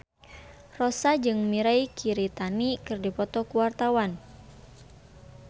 Rossa jeung Mirei Kiritani keur dipoto ku wartawan